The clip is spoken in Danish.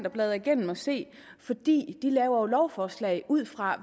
at bladre igennem og se fordi de jo laver lovforslag ud fra